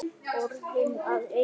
Orðin að einu.